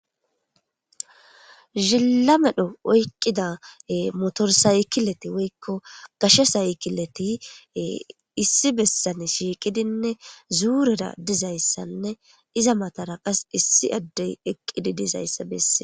zilla medho oyqqida motorsaykileti woykko kashe saykileti issi bessane shiiqidinne zuurera dizayssanne iza matara qas issi addey eqqidi dizayssa besse